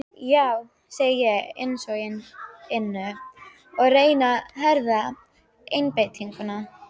Já, segi ég á innsoginu og reyni að herða einbeitinguna.